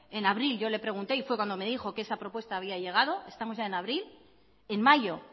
en abril yo le pregunté y fue cuando me dijo que esa propuesta había llegado estamos ya en abril en mayo